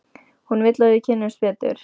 Hún vill að við kynnumst betur.